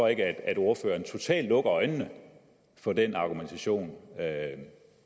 ikke at ordføreren totalt lukker øjnene for den argumentation